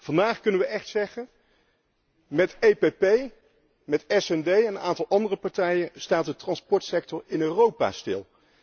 Vandaag kunnen we echt zeggen 'Met EPP, met SD en een aantal andere partijen staat de transportsector in Europa stil'.